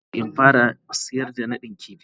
Ina so in fara sayar da nadin kifi.